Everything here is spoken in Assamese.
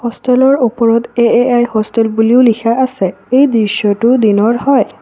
হোষ্টেলৰ ওপৰত এ_এ_আই হোষ্টেল বুলিও লিখা আছে এই দৃশ্যটো দিনৰ হয়।